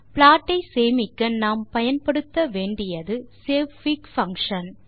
plot ஐ சேமிக்க நாம் பயன்படுத்த வேண்டியது savefig பங்ஷன்